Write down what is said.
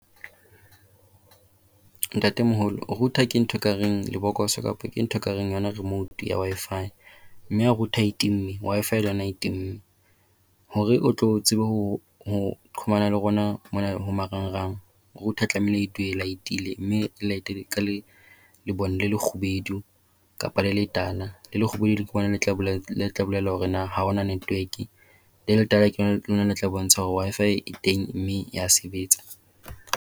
Ntatemoholo, router ke ntho ekareng lebokoso kapa ke ntho ekareng yona remote ya Wi-Fi. Mme ha router e timme Wi-Fi le yona e timme. Hore o tlo tsebe ho hokahanya le rona mona ho marangrang, router e tlamehile e dule e light-ile. Mme e light-e ka lebone le lekgubedu kapa le letala. Le lekgubedu ke lona le tla bolela hore na ha hona tetwork. Le letala lona le tla bontsha hore Wi-Fi e teng mme e a sebetsa.